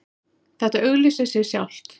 Þetta auglýsir sig sjálft